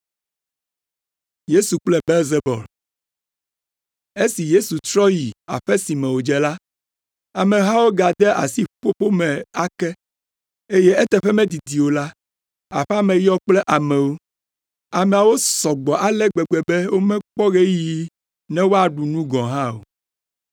Esi Yesu trɔ yi aƒe si me wòdze la, amehawo gade asi ƒuƒoƒo me ake, eye eteƒe medidi o la, aƒea me yɔ kple amewo. Ameawo sɔ gbɔ ale gbegbe be mekpɔ ɣeyiɣi ne wòaɖu nu gɔ̃ hã o.